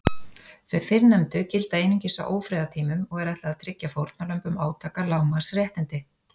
Þau fyrrnefndu gilda einungis á ófriðartímum og er ætlað að tryggja fórnarlömbum átaka lágmarks réttindi.